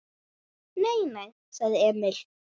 Nei, nei, sagði Emil.